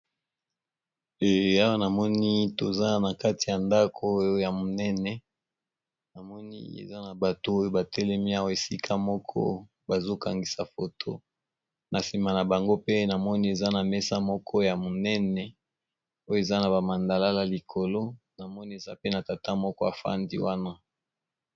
Awa namoni tozali na kati ya ndaku moko ya munene, namoni batu batelemi